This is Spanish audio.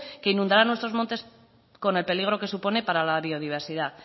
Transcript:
que inundará nuestros montes con el peligro que supone para la biodiversidad